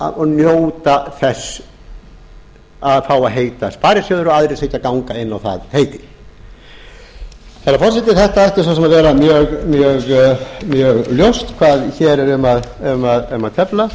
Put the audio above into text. eiga og njóta þess að fá að heita sparisjóðir og aðrir séu ekki að ganga inn á það heiti herra forseti þetta ætti svo sem að vera mjög ljóst hvað hér er um að tefla